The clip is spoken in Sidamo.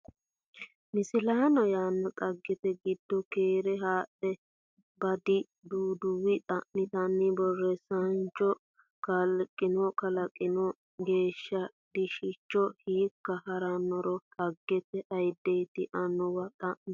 Misilaano yaa dhaggete giddo keere haadhe baadi duduwo xa miteenna borreessaanchu cho kalaqino kalaqqino galashshu diishshicho hiikka ha rannoro dhaggete ayiddeeti annuwanna xa mi.